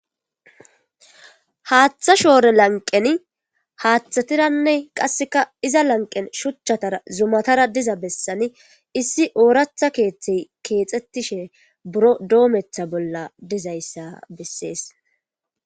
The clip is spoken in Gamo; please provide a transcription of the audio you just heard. Hatha shore lanqqen hathatarranne shucuattara dizza bessassn issi orathakethi kethay kexetishe birro dometha bolla dizzayssa besses.